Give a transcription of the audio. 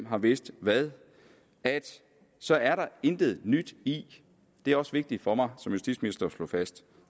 har vidst hvad så er der intet nyt i det er også vigtigt for mig som justitsminister at slå fast